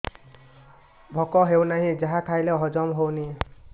ଭୋକ ହେଉନାହିଁ ଯାହା ଖାଇଲେ ହଜମ ହଉନି